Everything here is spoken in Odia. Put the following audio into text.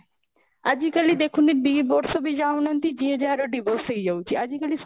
ଆଜି କାଲି ଦେଖୁନ ଦିବର୍ଷ ବି ଯାଉ ନାହାନ୍ତି ଯିଏ ଯାହାର divorce ହେଇଯାଉଛି ଆଜିକାଲି ସବୁ